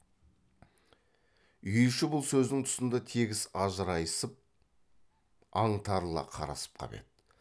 үй іші бұл сөздің тұсында тегіс ажырайысып аңтарыла қарасып қап еді